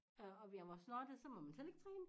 Øh og jeg var snottet så må man slet ikke træne